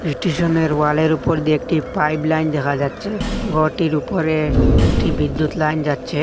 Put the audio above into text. স্টেশনের ওয়ালের উপর দিয়ে একটি পাইব লাইন দেখা যাচ্ছে ঘরটির উপরে একটি বিদ্যুৎ লাইন যাচ্ছে।